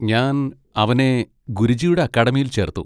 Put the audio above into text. ഞാൻ അവനെ ഗുരുജിയുടെ അക്കാഡമിയിൽ ചേർത്തു.